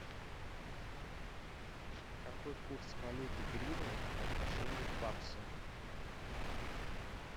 какой курс валюты гривны по отношению к баксу